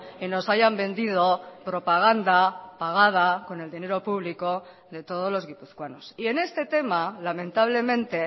y nos hayan vendido propaganda pagada con el dinero público de todos los guipuzcoanos y en este tema lamentablemente